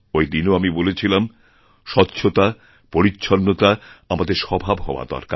ওই দিনও আমি বলেছিলাম স্বচ্ছতা পরিচ্ছন্নতা আমাদের স্বভাবহওয়া দরকার